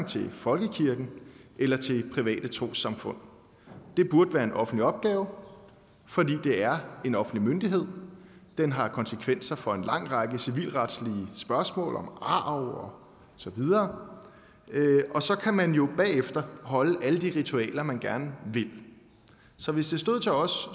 til folkekirken eller til private trossamfund det burde være en offentlig opgave fordi det er en offentlig myndighed den har konsekvenser for en lang række civilretlige spørgsmål om arv og så videre og så kan man jo bagefter holde alle de ritualer man gerne vil så hvis det stod til os